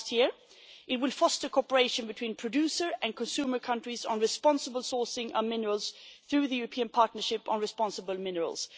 2017. It will foster cooperation between producer and consumer countries on responsible sourcing of minerals through the European Partnership on Responsible Minerals.